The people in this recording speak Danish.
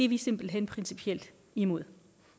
vi simpelt hen principielt imod